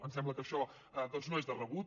ens sembla que això doncs no és de rebut